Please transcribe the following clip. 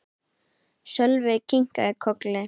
Sölvi kinkaði kolli.